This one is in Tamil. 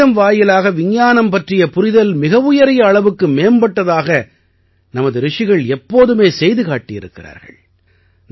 கணிதம் வாயிலாக விஞ்ஞானம் பற்றிய புரிதல் மிகவுயரிய அளவுக்கு மேம்பட்டதாக நமது ரிஷிகள் எப்போதுமே செய்து காட்டியிருக்கிறார்கள்